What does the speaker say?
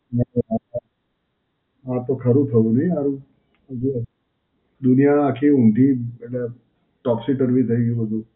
આ તો ખરું થયું નહીં હારું. દુનિયા આખી ઉંધી એટલે Toxi termi થઈ ગયું બધું.